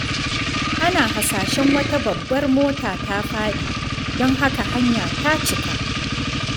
Ana hasashen wata babbar mota ta faɗi, don haka hanya ta cika.